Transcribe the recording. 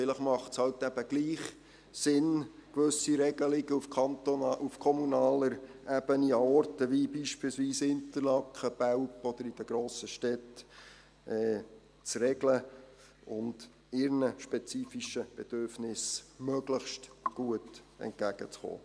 Vielleicht macht es halt eben doch Sinn, gewisse Regelungen auf kommunaler Ebene an Orten wie beispielsweise Interlaken, Belp oder in den grossen Städten zu regeln und ihren spezifischen Bedürfnissen möglichst gut entgegenzukommen.